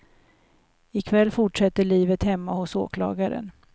I kväll fortsätter livet hemma hos åklagaren.